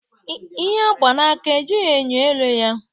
Ihe agba n'aka, ejighị enyo ele ya